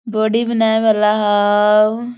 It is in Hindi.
बॉडी बनाए वाला हव।